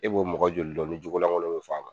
E b'o mɔgɔ joli dɔn ni jogo laŋolo bɛ f'a ma?